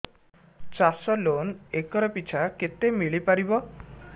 ଚାଷ loan acre ପିଛା କେତେ ମିଳି ପାରିବ